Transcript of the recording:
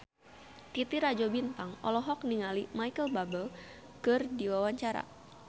Titi Rajo Bintang olohok ningali Micheal Bubble keur diwawancara